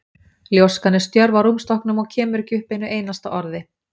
Ljóskan er stjörf á rúmstokknum og kemur ekki upp einu einasta orði.